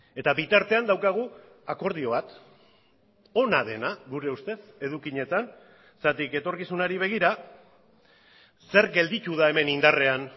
eta bitartean daukagu akordio bat ona dena gure ustez edukietan zergatik etorkizunari begira zer gelditu da hemen indarrean